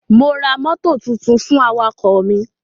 Mo ra mọ́tò tuntun fún awakọ̀ mi.